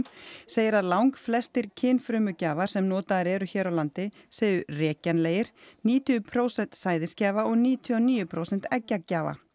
segir að langflestir kynfrumugjafar sem notaðir eru hér á landi séu rekjanlegir níutíu prósent sæðisgjafa og níutíu og níu prósent eggjagjafa